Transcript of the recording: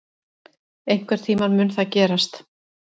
Einhvern tíma mun það gerast.